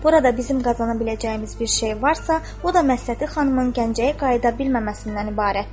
Burada bizim qazana biləcəyimiz bir şey varsa, o da Məsləti xanımın Gəncəyə qayıda bilməməsindən ibarətdir.